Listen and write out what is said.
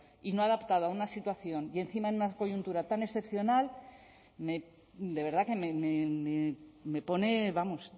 y no adaptado a una situación y encima en una coyuntura tan excepcional de verdad que me pone vamos